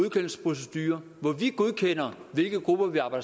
de her grupper når